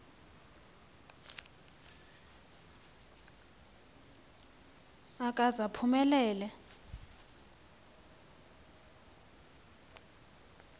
akaze aphume lele